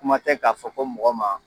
Kuma tɛ k'a fɔ ko mɔgɔ ma.